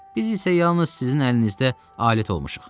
Biz isə yalnız sizin əlinizdə alət olmuşuq.